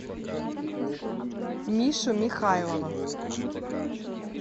мишу михайлова